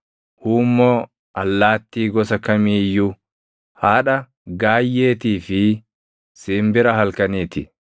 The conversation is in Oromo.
huummoo, allaattii gosa kamii iyyuu, haadha gaayyeetii fi simbira halkanii ti.